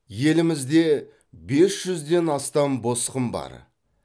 елімізде бес жүзден астам босқын бар